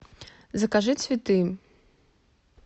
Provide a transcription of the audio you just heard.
закажи цветы